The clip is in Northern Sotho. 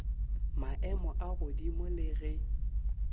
maemo a godimo le ge